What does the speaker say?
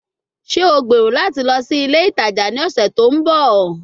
Ṣe o gbero lati lọ si ile itaja ni ọsẹ to nbọ?